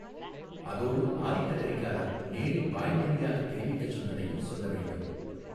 அதோடு ஆதித்த கரிகாலர் நேரில் வாய்மொழியாகத் தெரிவிக்கச் சொன்னதையும் சொல்ல வேண்டும்.